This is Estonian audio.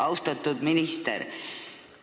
Austatud minister!